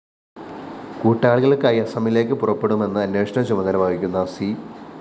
കൂട്ടാളികള്‍ക്കായി അസമിലേക്ക് പുറപ്പെടുമെന്ന് അന്വേഷണ ചുമതല വഹിക്കുന്ന സി